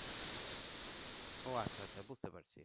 ও আচ্ছা আচ্ছা বুঝতে পারছি